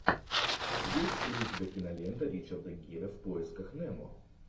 есть ли у тебя кинолента ричарда гира в поисках немо